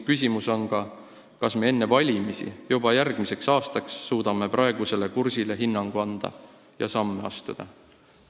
Küsimus on ka, kas me suudame enne valimisi, juba järgmiseks aastaks praegusele kursile hinnangu anda ja samme astuda.